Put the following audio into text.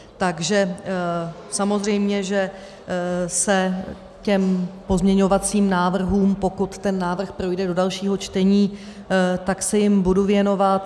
Takže samozřejmě, že se těm pozměňovacím návrhům, pokud ten návrh projde do dalšího čtení, tak se jim budu věnovat.